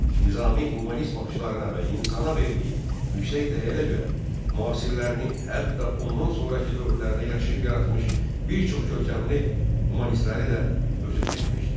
Nizami humanist baxışlarına və insana verdiyi yüksək dəyərə görə müasirlərini, hətta ondan sonrakı dövrlərdə yaşayıb yaratmış bir çox görkəmli humanistləri də ötüb keçmişdi.